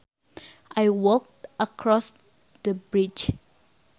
I walked across the bridge